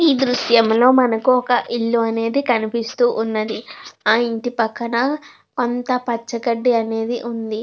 ఈ దృశ్యంలో మనకి ఒక ఇల్లు అనేది కనిపిస్తూ ఉన్నది. ఆ ఇంటి పక్కన అంతా పచ్చ గడ్డి అనేది ఉంది.